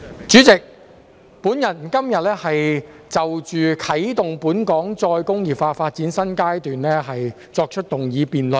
主席，我今天就"啟動本港再工業化發展的新階段"提出議案辯論。